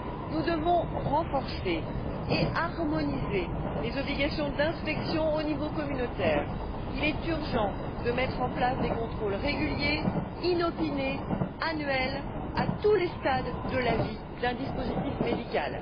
Nous devons renforcer et harmoniser les obligations d'inspection au niveau communautaire. Il est urgent de mettre en place des contrôles réguliers, inopinés, annuels, à tous les stades de la vie d'un dispositif médical.